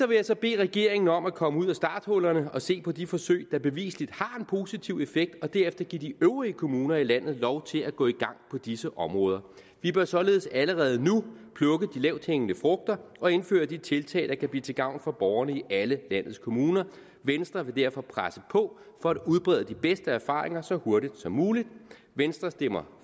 vil jeg bede regeringen om at komme ud af starthullerne og se på de forsøg der bevisligt har positiv effekt og derefter give de øvrige kommuner i landet lov til at gå i gang på disse områder vi bør således allerede nu plukke de lavthængende frugter og indføre de tiltag der kan blive til gavn for borgerne i alle landets kommuner venstre vil derfor presse på for at udbrede de bedste erfaringer så hurtigt som muligt venstre stemmer